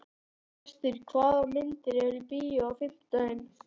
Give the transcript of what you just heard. Gestur, hvaða myndir eru í bíó á fimmtudaginn?